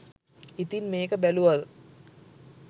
ඉතින් මේක බැලුව